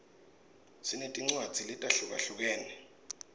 sinetincwadzi letahlukahlukene